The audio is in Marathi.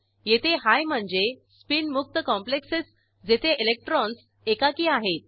येथे हाय म्हणजे स्पीन मुक्त कॉम्प्लेक्सेस जेथे इलेक्ट्रॉन्स एकाकी आहेत